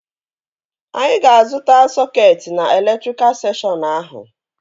Anyị ga-azụta sọketi na elektrika sekshọn ahụ